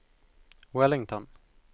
Wellington